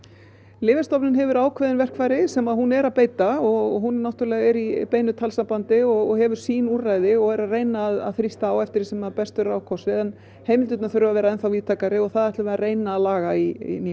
Lyfjastofnun hefur ákveðin verkfæri sem hún er að beita og hún náttúrulega er í beinu talsambandi og hefur sín úrræði og er að reyna að þrýsta á eftir því sem að best verður á kosið en heimildirnar þurfa að vera enn þá víðtækari og það ætlum við að reyna að laga í nýjum